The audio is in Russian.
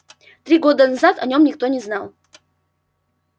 три года назад о нем никто не знал